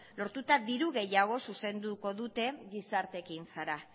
lortuta diru gehiago zuzenduko dute gizarte ekintzara